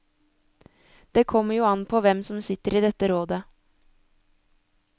Det kommer jo an på hvem som sitter i dette rådet.